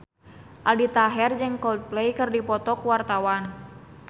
Aldi Taher jeung Coldplay keur dipoto ku wartawan